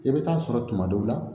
I bɛ taa sɔrɔ tuma dɔw la